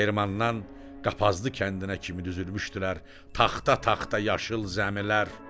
Dəyirmandan Qapazlı kəndinə kimi düzülmüşdülər taxta-taxta yaşıl zəmilər.